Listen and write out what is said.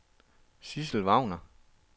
Sidsel Wagner